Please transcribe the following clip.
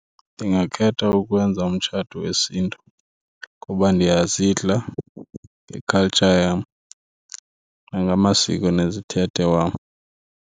Ndingakhetha ukwenza umtshato wesiNtu kuba ndiyazidla nge-culture yam nangamasiko nezithethe wam.